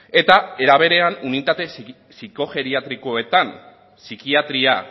eta era berean unitatea psikogeriatriakoetan psikiatria